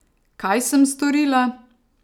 Kaj sem storila?